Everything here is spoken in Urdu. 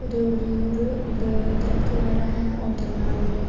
دور-دور درخت وگیرہ ہے اور درمیان ہے۔